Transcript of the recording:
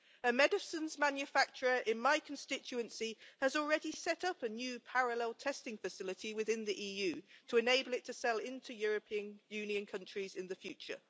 A medicines manufacturer in my constituency has already set up a new parallel testing facility within the EU to enable it to sell into European Union countries in the future.